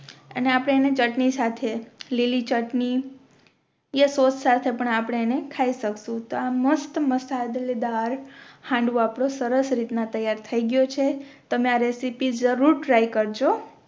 અને આપણે એને ચટણી સાથે લીલી ચટણી યા સૉસ સાથે પણ આપણે એને ખાઈ શકશુ તો આ મસ્ત મસાલેદાર હાંડવો આપનો સરસ રીતના તૈયાર થઈ ગયો છે તમે આ રેસીપી જરૂર ટ્રાય કરજો